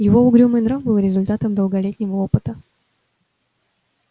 его угрюмый нрав был результатом долголетнего опыта